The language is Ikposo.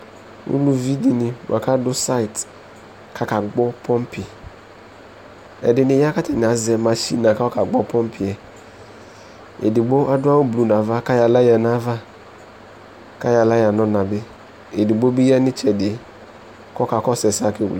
ulωviɖiɲi ɑkɑɖu sɛɲtɛ kɑkãgbɔtɔbi ɛɗiɲiyɑ kɑtạɲiɑzé mɑƈhiŋi kɑyɔ ƙɑgbɔpópiɛ ɛɖigbo ɑɖωɑwω ƒụɛŋɑʋɑ kɑyɔlɑ ÿɑɲɑvũ kɑyɔlayă ɲɔɲɑbi ɛɖiɠɓo ɓiƴɑɲitsɛɖi kɔkɑkɔsu ɛsɛkɑkɛwlɛ